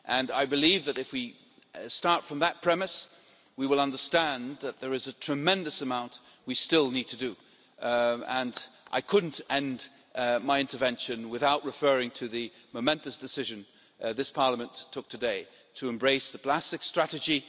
I believe that if we start from that premise, we will understand that there is a tremendous amount we still need to do, and I couldn't end my intervention without referring to the momentous decision this Parliament took today to embrace the plastic strategy.